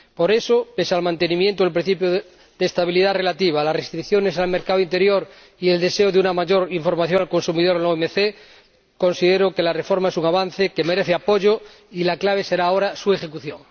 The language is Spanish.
Por eso, pese al mantenimiento del principio de estabilidad relativa, a las restricciones al mercado interior y a que sería de desear una mayor información al consumidor en la OMC, considero que la reforma es un avance que merece apoyo y la clave será ahora su ejecución.